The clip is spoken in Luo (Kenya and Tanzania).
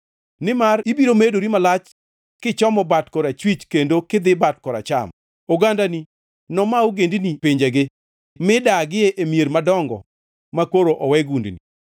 Nimar ibiro medori malach kichomo bat korachwich kendo kidhi bat koracham; ogandani noma ogendini pinjegi mi dagie e mier madongo makoro owe gundini.